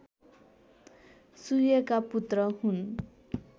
सूर्यका पुत्र हुन्